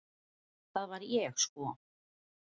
Það var ég sko!